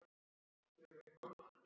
Leiðir til úrbóta skoðar.